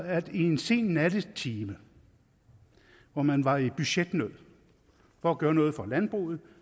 at i en sen nattetime hvor man var i budgetnød for at gøre noget for landbruget